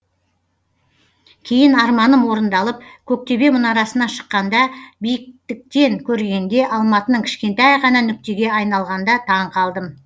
кейін арманым орындалып көк төбе мұнарасына шыққанда биіктіктен көргенде алматының кішкентай ғана нүктеге айналғанда таңқалдым